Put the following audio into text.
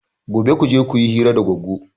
Gobe kuje kuyi hira da Goggo!